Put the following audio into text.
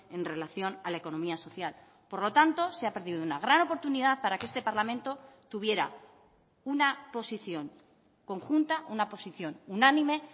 en relación a la economía social por lo tanto se ha perdido una gran oportunidad para que este parlamento tuviera una posición conjunta una posición unánime